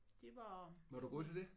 Det var det var mit